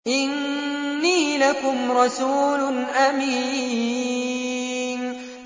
إِنِّي لَكُمْ رَسُولٌ أَمِينٌ